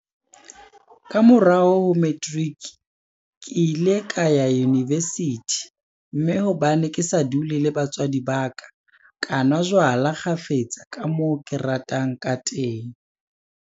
Ka morao ho materiki, ke ile ka ya univesithi, mme hobane ke sa dule le batswadi ba ka, ka nwa jwala kgafetsa ka moo ke ratang kateng.